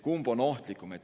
Kumb on ohtlikum?